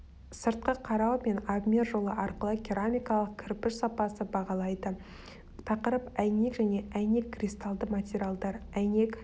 сыртқы қарау мен обмер жолы арқылы керамикалық кірпіш сапасын бағалайды тақырып әйнек және әйнек кристаллды материалдар әйнек